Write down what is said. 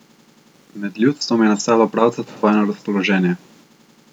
Med ljudstvom je nastalo pravcato vojno razpoloženje.